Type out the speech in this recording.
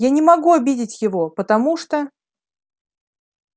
я не могу обидеть его потому что